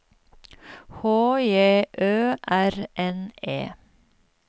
H J Ø R N E